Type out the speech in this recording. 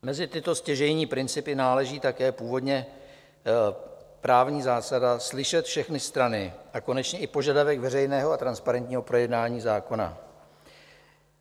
Mezi tyto stěžejní principy náleží také původně právní zásada slyšet všechny strany a konečně i požadavek veřejného a transparentního projednání zákona.